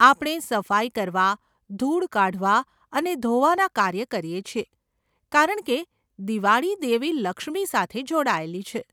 આપણે સફાઈ કરવા, ધૂળ કાઢવા અને ધોવાના કાર્ય કરીએ છીએ કારણકે દિવાળી દેવી લક્ષ્મી સાથે જોડાયેલી છે.